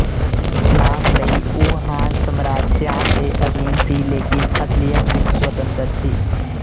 ਨਾਮ ਲਈ ਉਹ ਹਾਨ ਸਮਰਾਟ ਸ਼ਿਆਨ ਦੇ ਅਧੀਨ ਸੀ ਲੇਕਿਨ ਅਸਲੀਅਤ ਵਿੱਚ ਸਵਤੰਤਰ ਸੀ